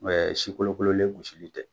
Mɛ si kolo kololen gosili tɛ.